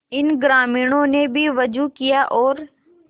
इन ग्रामीणों ने भी वजू किया और